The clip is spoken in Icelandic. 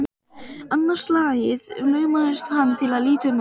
Annað slagið laumaðist hann til að líta um öxl.